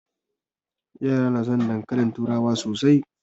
Yara na son dankalin turawa sosai